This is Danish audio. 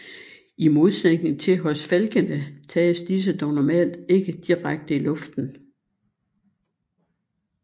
I modsætning til hos falkene tages disse dog normalt ikke direkte i luften